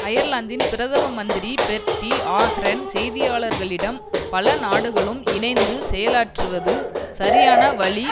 அயர்லந்தின் பிரதம மந்திரி Bertie Ahern செய்தியாளரிடம் பல நாடுகளும் இணைந்து செயலாற்றுவது சரியான வழி